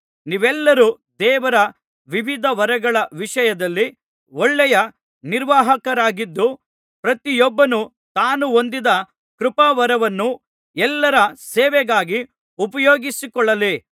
ನೀವೆಲ್ಲರು ದೇವರ ವಿವಿಧ ವರಗಳ ವಿಷಯದಲ್ಲಿ ಒಳ್ಳೆಯ ನಿರ್ವಾಹಕರಾಗಿದ್ದು ಪ್ರತಿಯೊಬ್ಬನು ತಾನು ಹೊಂದಿದ ಕೃಪಾವರವನ್ನು ಎಲ್ಲರ ಸೇವೆಗಾಗಿ ಉಪಯೋಗಿಸಕೊಳ್ಳಲಿ